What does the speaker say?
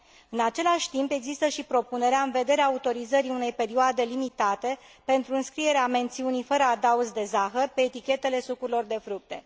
În același timp, există și propunerea în vederea autorizării unei perioade limitate pentru înscrierea mențiunii fără adaos de zahăr pe etichetele sucurilor de fructe.